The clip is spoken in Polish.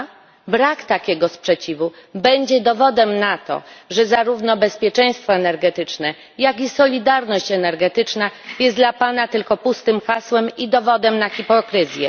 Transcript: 2? Brak takiego sprzeciwu będzie dowodem na to, że zarówno bezpieczeństwo energetyczne, jak solidarność energetyczna jest dla pana tylko pustym hasłem i dowodem na hipokryzję.